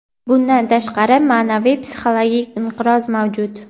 Bundan tashqari, ma’naviy-psixologik inqiroz mavjud.